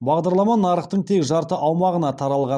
бағдарлама нарықтың тек жарты аумағына таралған